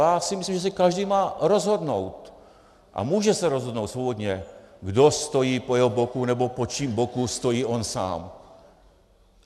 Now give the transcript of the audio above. Já si myslím, že si každý má rozhodnout a může se rozhodnout svobodně, kdo stojí po jeho boku nebo po koho boku stojí on sám.